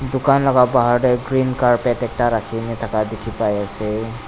dukan la bahar tae green carpet ekta rakhina thaka dikhipaiase.